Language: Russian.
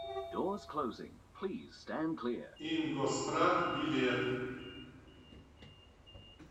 ингосстрах билет